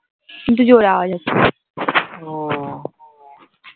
জোরে আওয়াজ হচ্ছে